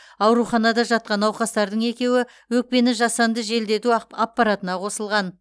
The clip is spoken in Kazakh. ауруханада жатқан науқастардың екеуі өкпені жасанды желдету аппаратына қосылған